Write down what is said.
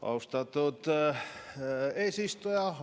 Austatud eesistuja!